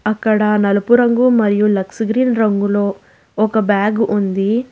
అక్కడ నలుపు రంగు మరియు లక్స్ గ్రీన్ రంగులో ఒక బ్యాగు ఉంది.